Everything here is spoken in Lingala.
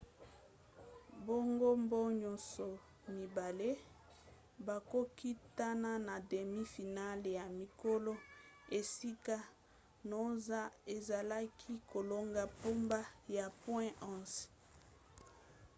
bangambo nyonso mibale bakokutana na demi final ya mikolo esika noosa azalaki kolonga mpona ba point 11